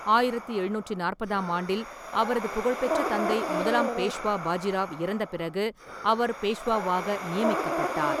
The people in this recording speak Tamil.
ஆயிரத்து எழுநூற்றி நாற்பதாம் ஆண்டில் அவரது புகழ்பெற்ற தந்தை முதலாம் பேஷ்வா பாஜிராவ் இறந்த பிறகு அவர் பேஷ்வாவாக நியமிக்கப்பட்டார்.